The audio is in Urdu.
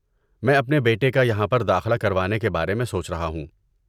میں اپنے بیٹے کا یہاں پر داخلہ کروانے کے بارے میں سوچ رہا ہوں۔